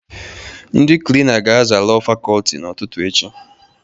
Ndị Klina ga-aza Lọọ Fakọlti n'ụtụtụ echi.